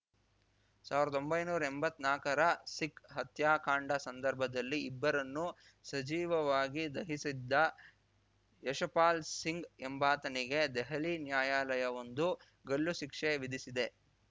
ಸಾವ್ರ್ದೊಂಭೈನೂರಾ ಎಂಬತ್ನಾಕರ ಸಿಖ್‌ ಹತ್ಯಾಕಾಂಡ ಸಂದರ್ಭದಲ್ಲಿ ಇಬ್ಬರನ್ನು ಸಜೀವವಾಗಿ ದಹಿಸಿದ್ದ ಯಶಪಾಲ್‌ ಸಿಂಗ್‌ ಎಂಬಾತನಿಗೆ ದೆಹಲಿಯ ನ್ಯಾಯಾಲಯವೊಂದು ಗಲ್ಲು ಶಿಕ್ಷೆ ವಿಧಿಸಿದೆ